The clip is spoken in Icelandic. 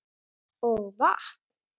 Og vatn.